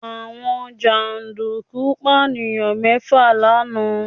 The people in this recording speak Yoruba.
Àwọn jàǹdùkú Pànìyàn mẹ́fà lánàá